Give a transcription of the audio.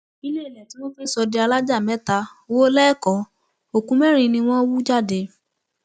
iléèlé tí wọn fẹẹ sọ di alájà mẹta wò lẹkọọ òkú mẹrin ni wọn hú jáde